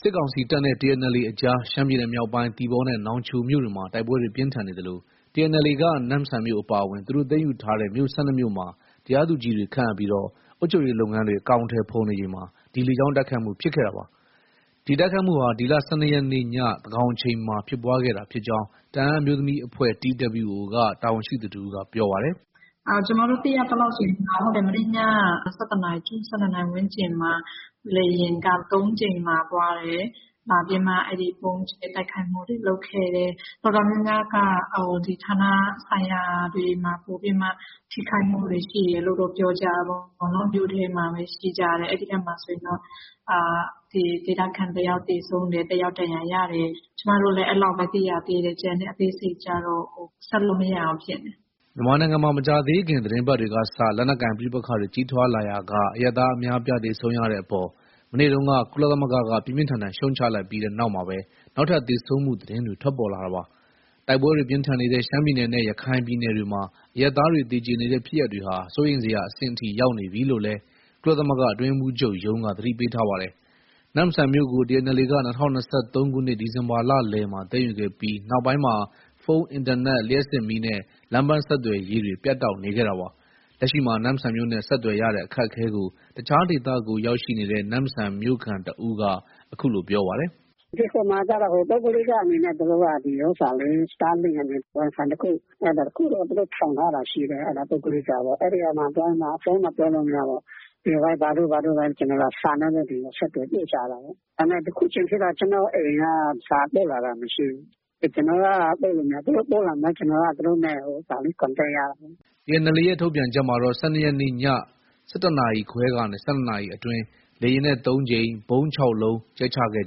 စစ်ကောင်စီတပ်နဲ့ TNLA အကြား ရှမ်းပြည်နယ်မြောက်ပိုင်း သီပေါနဲ့ နောင်ချိုမြို့တွေမှာ တိုက်ပွဲတွေ ပြင်းထန်နေသလို TNLA က နမ့်ဆန်မြို့ အပါအဝင် သူတို့ သိမ်းယူထားတဲ့ မြို့ ၁၂မြို့မှာ တရားသူကြီးတွေ ခန့်အပ်ပြီး အုပ်ချုပ်ရေးလုပ်ငန်းတွေ အကောင်အထည်ဖော်နေချိန်မှာ ဒီလေကြောင်းတိုက်ခိုက်မှု ဖြစ်ခဲ့တာပါ။ ဒီတိုက်ခိုက်မှုဟာ ဒီလ ၁၂ရက်နေ့ ညသန်းခေါင်အချိန်မှာဖြစ်ပွားခဲ့တာဖြစ်ကြောင်း တအန်းအမျိုးသမီးအဖွဲ့ TWO က တာဝန်ရှိသူတဦးက ပြောပါတယ်။ “ ကျမတို့ သိရသလောက် မနေ့ည ၁၁နာရီကျော် ၁၂နာရီဝန်းကျင်မှာ လေယာဉ်က ၃ကြိမ်လာ သွားတယ်။ လာပြီးမှ ဗုံးကြဲတိုက်ခိုက်မှုတွေ လုပ်ခဲ့တယ်။ တော်တော်များများက ဌာနဆိုင်ရာတွေမှာ ပိုပြီးတော့ ထိခိုက်မှုတွေ ရှိခဲ့တယ်လို့ ပြောကြတာပေါ့။ မြို့ထဲမှာပဲ ရှိကြတယ်။ အဲဒီထဲမှာတော့ ဒေသခံတယောက်သေဆုံးတယ်။ တယောက် ဒဏ်ရာရတယ်။ ကျမတို့လည်း အဲလောက်ပဲ သိရသေးတယ်။ ကျန်တဲ့အသေးစိတ်ကျတော့ ဆက်လို့ မရဘူးဖြစ်နေတယ်။” မြန်မာနိုင်ငံမှာ မကြာသေးခင် သီတင်းပတ်တွေကစ လက်နက်ကိုင် ပဋိပက္ခတွေ ကြီးထွားလာရာက အရပ်သားအများအပြား သေဆုံးရတဲ့အပေါ် မနေ့တုန်းက ကုလသမဂ္ဂက ပြင်းပြင်းထန်ထန် ရှုတ်ချလိုက်ပြီး နောက်မှာပဲ နောက်ထပ် သေဆုံးမှု သတင်းတွေ ထွက်ပေါ်လာတာပါ။ တိုက်ပွဲတွေ ပြင်းထန်နေတဲ့ ရှမ်းပြည်နယ်နဲ့ ရခိုင်ပြည်နယ်တွေမှာ အရပ်သားတွေ သေကျေနေတဲ့ ဖြစ်ရပ်တွေဟာ စိုးရိမ်စရာအဆင့်အထိ ရောက်နေပြီလို့လည်း ကုလသမဂ္ဂ အတွင်းရေးမှူးချုပ်ရုံးက သတိပေးထားပါတယ်။ နမ့်ဆန်မြို့ကို TNLA က ၂၀၂၃ခုနှစ် ဒီဇင်ဘာလလယ်မှာ သိမ်းယူခဲ့ပြီး နောက်ပိုင်းမှာ ဖုန်း၊ အင်တာနက်၊ လျှပ်စစ်မီးနဲ့ လမ်းပန်းဆက်သွယ်ရေးတွေ ပြတ်တောက်နေခဲ့တာပါ။ လက်ရှိမှာ နမ့်ဆန်မြို့နဲ့ ဆက်သွယ်ရတဲ့အခက်အခဲကို တခြားဒေသကို ရောက်ရှိနေတဲ့ နမ့်ဆန်မြို့ခံတဦးက အခုလို ပြောပါတယ်။ “ ဟိုမှာကျတော့ ပုဂ္ဂလိကအနေနဲ့ သူတို့က Star link အနေနဲ့ Wifi တခု အဲဒါတခုတော့ ထောင်ထားတာ ရှိတယ်။ ပုဂ္ဂလိကပေါ့။ အဲဒီမှာ သွားပြီးတော့မှ ဖုန်းတော့ ပြောလို့ မရဘူးပေါ့။ Viber တို့ ဘာတို့နဲ့ ကျနော်တို့က စာနဲ့ပဲ ဆက်သွယ် ပို့ကြတာပေါ့။ ဒါပေမဲ့ အခုချိန်ထိတော့ ကျနော့အိမ်က စာပို့လာတာ မရှိဘူး။ ကျနော်က ပို့လို့ မရဘူး။ သူတို့ဆက်လာမှာ ကျနော်က သူတို့ နဲ့ Contact ရတာလေ။ ” TNLA ရဲ့ ထုတ်ပြန်ချက်မှာတော့ ၁၂ရက်နေ့ည ၁၁နာရီခွဲကနေ ၁၂နာရီအတွင်း လေယာဉ်နဲ့ ၃ကြိမ်၊ ဗုံး ၆လုံးကြဲချခဲ့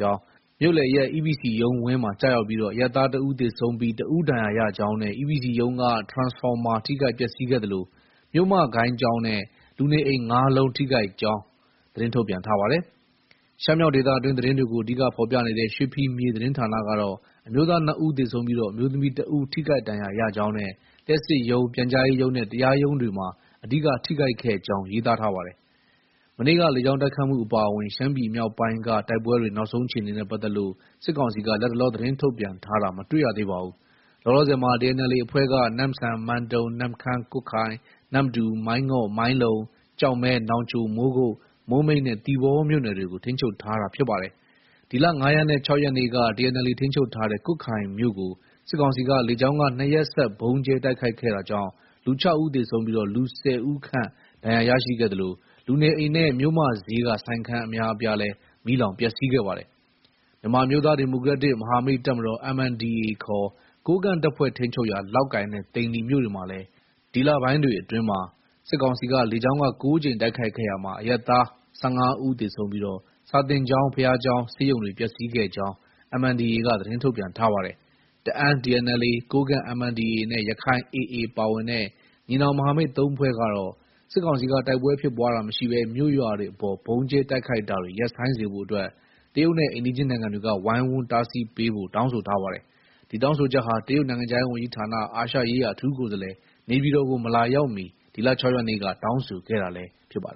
ကြောင်း၊ မြို့လယ်ရပ် EPC ရုံးဝန်းမှာကျရောက်ပြီး အရပ်သား ၁ဦးသေဆုံးပြီး တဦး ဒဏ်ရာရကြောင်းနဲ့ EPC ရုံးက ထရန်စဖော်မာထိခိုက်ပျက်ဆီးခဲ့သလို မြို့မဂိုဏ်းကျောင်းနဲ့ လူနေအိမ် ၅လုံးထိခိုက်ကြောင်း သတင်းထုတ်ပြန်ပါတယ်။ ရှမ်းမြောက်ဒေသတွင်းသတင်းတွေကို အဓိက ဖော်ပြနေတဲ့ ရွှေဖီမြေသတင်းဌာနကတော့ အမျိုးသား ၂ဦးသေဆုံးပြီး အမျိုးသမီး တဦးထိခိုက်ဒဏ်ရရကြောင်းနဲ့ လျှပ်စစ်ရုံး၊ ပြန်ကြာရေးရုံးနဲ့ တရားရုံးတွေမှာ အဓိက ထိခိုက်ခဲ့ကြောင်း ရေးသားပါတယ်။ မနေ့က လေကြောင်းတိုက်ခိုက်မှု အပါအဝင် ရှမ်းပြည်မြောက်ပိုင်းက တိုက်ပွဲတွေ နောက်ဆုံးအခြေအနေနဲ့ ပတ်သက်လို့ စစ်ကောင်စီက လတ်တလော သတင်းထုတ်ပြန်တာတော့ မတွေ့ရသေးပါဘူး။ လောလောဆယ်မှာ TNLA အဖွဲ့က နမ့်ဆန်၊ မန်တုံ၊ နမ့်ခမ်း၊ ကွတ်ခိုင်၊ နမ္မတူ၊ မိုင်းငေါ့၊ မိုင်းလုံ၊ ကျောက်မဲ၊ နောင်ချို၊ မိုးကုတ်၊ မိုးမိတ်နဲ့ သီပေါမြို့နယ်တွေကို ထိန်းချုပ်ထားတာ ဖြစ်ပါတယ်။ ဒီလ ၅ရက်နဲ့ ၆ရက်နေ့က TNLA ထိန်းချုပ်ထားတဲ့ ကွတ်ခိုင်မြို့ကို စစ်ကောင်စီက လေကြောင်းက ၂ရက်ဆက် ဗုံးကြဲတိုက်ခိုက်ခဲ့တာကြောင့် လူ ၆ဦးသေဆုံးပြီး လူ ၁၀ဦးခန့် ဒဏ်ရာရရှိခဲ့သလို လူနေအိမ်နဲ့ မြို့မဈေးက ဆိုင်ခန်းအများအပြားမီးလောင်ပျက်ဆီးခဲ့ပါတယ်။ မြန်မာအမျိုးသားဒီမိုကရက်တစ် မဟာမိတ်တပ်မတော် MNDAA ခေါ် ကိုးကန့်တပ်ဖွဲ့ထိန်းချုပ်ရာ လောက်ကိုင်နဲ့ သိန္နီမြို့တွေကိုလည်း ဒီလပိုင်းတွေအတွင်းမှာ စစ်ကောင်စီက လေကြောင်းက ၉ကြိမ်တိုက်ခိုက်ခဲ့ရာမှာ အရပ်သား အရပ်သား ၁၅ဦးသေဆုံးပြီး စာသင်ကျောင်း၊ ဘုရားကျောင်းနဲ့ ဆေးရုံတွေ ပျက်ဆီးခဲ့ကြောင်း MNDAA က သတင်းထုတ်ပြန်ထားပါတယ်။ တအန်း TNLA ၊ ကိုးကန့် MNDAA နဲ့ ရခိုင် AA ပါဝင်တဲ့ ညီနောင်မဟာမိတ် ၃ဖွဲ့ကတော့ စစ်ကောင်စီက တိုက်ပွဲဖြစ်ပွားတာမရှိဘဲ မြို့၊ရွာတွေအပေါ် ဗုံးကြဲတိုက်ခိုက်တာတွေ ရပ်ဆိုင်းစေဖို့အတွက် တရုတ်နိုင်ငံနဲ့ အိမ်နီးချင်းနိုင်ငံတွေက ဝိုင်းဝန်း တားဆီးပေးဖို့ တောင်းဆိုထားပါတယ်။ ဒီတောင်းဆိုချက်ဟာ တရုတ် နိုင်ငံခြားရေးဝန်ကြီးဌာန အာရှရေးရာ အထူးကိုယ်စားလှယ် နေပြည်တော်ကို မလာရောက်မီ ဒီလ ၆ရက်နေ့က တောင်းဆိုခဲ့တာလည်း ဖြစ်ပါတယ်